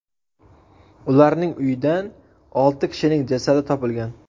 Ularning uyidan olti kishining jasadi topilgan.